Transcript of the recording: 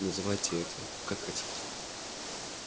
называйте это как хотите